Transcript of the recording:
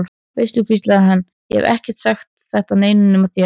Veistu, hvíslaði hann, ég hef ekki sagt þetta neinum nema þér.